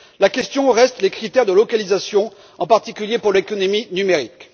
Il reste la question des critères de localisation, en particulier pour l'économie numérique.